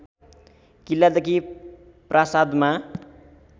किल्लादेखि प्रासादमा